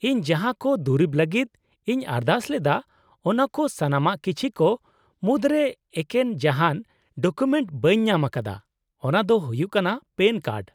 -ᱤᱧ ᱡᱟᱦᱟᱸ ᱠᱚ ᱫᱩᱨᱤᱵ ᱞᱟᱹᱜᱤᱫ ᱤᱧ ᱟᱨᱫᱟᱥ ᱞᱮᱫᱟ, ᱚᱱᱟ ᱠᱚ ᱥᱟᱱᱟᱢᱟᱜ ᱠᱤᱪᱷᱤ ᱠᱚ ᱢᱩᱫᱨᱮ ᱮᱠᱮᱱ ᱡᱟᱦᱟᱸ ᱰᱚᱠᱩᱢᱮᱱᱴ ᱵᱟᱹᱧ ᱧᱟᱢ ᱟᱠᱟᱫᱟ ᱚᱱᱟ ᱫᱚ ᱦᱩᱭᱩᱜ ᱠᱟᱱᱟ ᱯᱮᱹᱱ ᱠᱟᱨᱰ ᱾